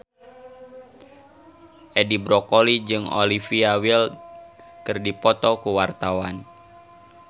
Edi Brokoli jeung Olivia Wilde keur dipoto ku wartawan